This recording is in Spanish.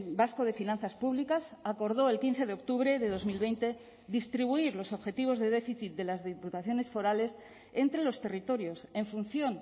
vasco de finanzas públicas acordó el quince de octubre de dos mil veinte distribuir los objetivos de déficit de las diputaciones forales entre los territorios en función